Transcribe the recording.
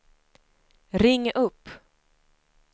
ring upp